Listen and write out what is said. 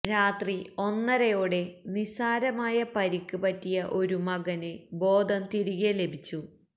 രാത്രി ഒന്നരയോടെ നിസാരമായ പരിക്ക് പറ്റിയ ഒരു മകന് ബോധം തിരികെ ലഭിച്ചു